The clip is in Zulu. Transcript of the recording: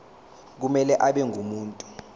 kumele abe ngumuntu